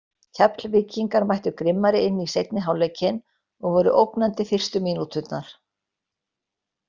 Keflvíkingarnir mættu grimmari inn í seinni hálfleikinn og voru ógnandi fyrstu mínúturnar.